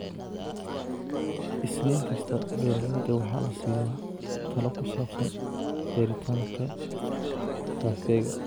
Isniin kasta, beeralayda waxaa la siiyaa talo ku saabsan beeritaanka kafeega.